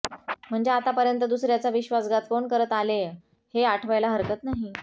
म्हणजे आतापर्यंत दुसर्याचा विश्वासघात कोण करत आलेय हे आठवायला हरकत नाही